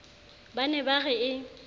ba ne ba re e